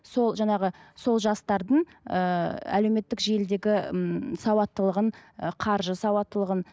сол жаңағы сол жастардың ыыы әлеуметтік желідегі ммм сауаттылығын ы қаржы сауаттылығын